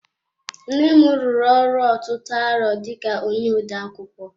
Nnem rụrụ ọrụ ọtụtụ arọ dika onye odeakwụkwọ.